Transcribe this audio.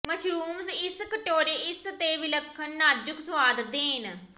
mushrooms ਇਸ ਕਟੋਰੇ ਇਸ ਦੇ ਵਿਲੱਖਣ ਨਾਜ਼ੁਕ ਸੁਆਦ ਦੇਣ